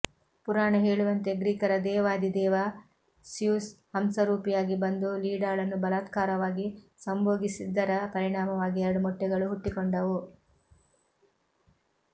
ಪುರಾಣ ಹೇಳುವಂತೆ ಗ್ರೀಕರ ದೇವಾಧಿದೇವ ಸ್ಯೂಸ್ ಹಂಸರೂಪಿಯಾಗಿ ಬಂದು ಲೀಡಾಳನ್ನು ಬಲಾತ್ಕಾರವಾಗಿ ಸಂಭೋಗಿಸಿದ್ದರ ಪರಿಣಾಮವಾಗಿ ಎರಡು ಮೊಟ್ಟೆಗಳು ಹುಟ್ಟಿಕೊಂಡವು